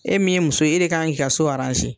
E min ye muso e de kan k'i ka so